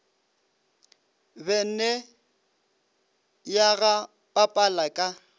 bene ya ga papala ka